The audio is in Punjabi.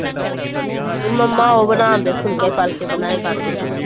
ਮੰਮਾ ਉਹ ਬਣਾਉਂਦੇ ਫੁੱਲਕੇ ਫਾਲਕੇ ਬਣਾਇਆ ਕਰਦੇ।